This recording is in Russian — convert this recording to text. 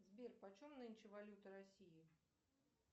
сбер почем нынче валюта россии